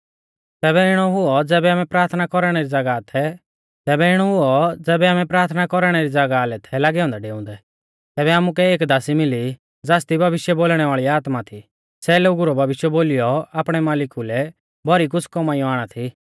तैबै इणौ हुऔ ज़ैबै आमै प्राथना कौरणै री ज़ागाह लै थै लागै औन्दै डेउंदै तैबै आमुकै एक दासी मिली ज़ासदी भविष्य बोलणै वाल़ी आत्मा थी सै लोगु रौ भविष्य बोलीयौ आपणै मालिकु लै भौरी कुछ़ कमाइयौ आणा थी